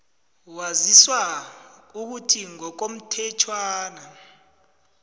waziswa ukuthi ngokomthetjhwana